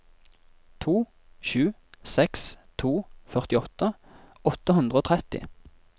to sju seks to førtiåtte åtte hundre og tretti